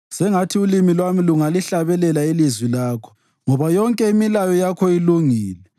Sengathi ulimi lwami lungalihlabela ilizwi lakho, ngoba yonke imilayo yakho ilungile.